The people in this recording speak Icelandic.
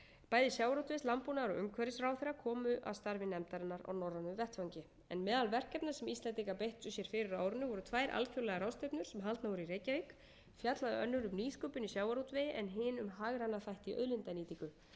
bæði sjávarútvegs landbúnaðar og umhverfisráðherra komu að starfi nefndarinnar á norrænum vettvangi en meðal verkefna sem íslendingar beittu sér fyrir á árinu voru tvær alþjóðlegar ráðstefnur sem haldnar voru í reykjavík fjallaði önnur um nýsköpun í sjávarútvegi en hin um hagræna þætti í auðlindanýtingu